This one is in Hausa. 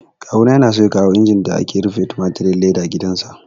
Kawu na yana so ya kawo injin da ake rufe tumatirin leda gidan sa